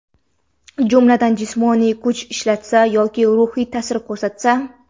jumladan jismoniy kuch ishlatsa yoki ruhiy taʼsir ko‘rsatsa;.